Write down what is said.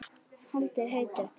Haldið heitu.